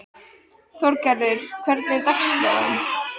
Þorgarður, hvernig er dagskráin?